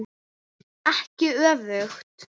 Ekki öfugt.